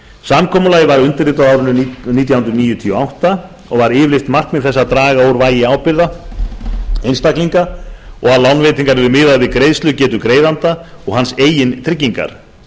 samkomulagið var undirritað á árinu nítján hundruð níutíu og átta og var yfirlýst markmið þess að draga úr vægi ábyrgða einstaklinga og að lánveitingar yrðu miðaðar við greiðslugetu greiðanda og hans eigin tryggingar